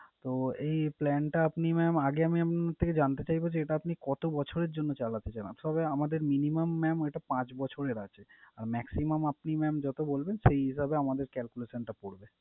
তো এই plan টা আপনি mam আগে mam আমি আপনার থেকে জানতে চাইবো যে, এটা আপনি কত বছরের জন্য চালাতে চান? For আমাদের minimum mam ওইটা পাঁচ বছরের আছে। Maximum আপনি mam যত বলবেন সেই হিসাবে আমাদের calculation টা পরবে।